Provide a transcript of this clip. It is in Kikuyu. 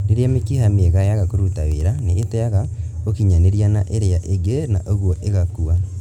Rĩrĩa mĩkĩha mĩega yaga kũruta wĩra, nĩiteaga ũkinyanĩria na ĩrĩa ĩngĩ na ũguo ĩgakua